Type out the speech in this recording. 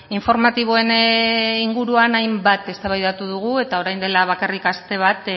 informatiboen inguruan hainbat eztabaidatu dugu eta orain dela bakarrik aste bat